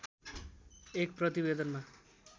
एक प्रतिवेदनमा